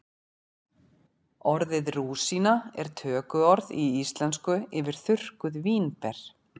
orðið rúsína er tökuorð í íslensku yfir þurrkuð vínber